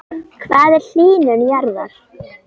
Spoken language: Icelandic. Hvað er hlýnun jarðar?